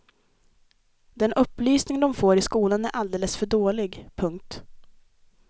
Den upplysning de får i skolan är alldeles för dålig. punkt